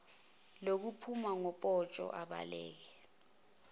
lokuphuma ngopotsho abaleke